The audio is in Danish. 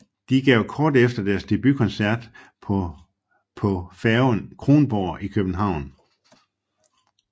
De gav kort efter deres debutkoncert på på færgen Kronborg i København